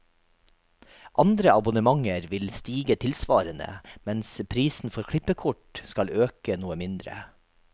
Andre abonnementer vil stige tilsvarende, mens prisen for klippekort skal øke noe mindre.